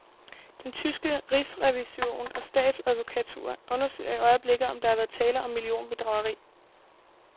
Den tyske rigsrevision og statsadvokatur undersøger i øjeblikket, om der har været tale om millionbedrageri.